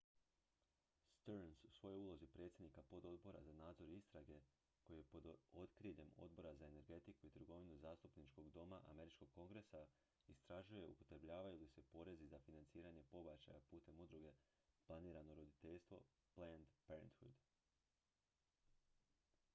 stearns u svojoj ulozi predsjednika pododbora za nadzor i istrage koji je pod okriljem odbora za energetiku i trgovinu zastupničkog doma američkog kongresa istražuje upotrebljavaju li se porezi za financiranje pobačaja putem udruge planirano roditeljstvo planned parenthood